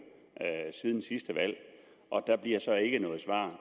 siden sidste valg der bliver så ikke noget svar